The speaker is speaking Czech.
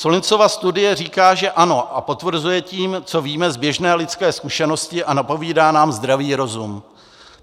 Sullinsova studie říká, že ano, a potvrzuje tím, co víme z běžné lidské zkušenosti a napovídá nám zdravý rozum.